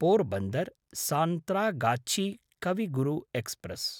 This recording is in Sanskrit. पोरबन्दर्–सान्त्रागाछी कवि गुरु एक्स्प्रेस्